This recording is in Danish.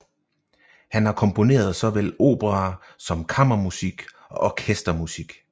Han har komponeret såvel operaer som kammermusik og orkestermusik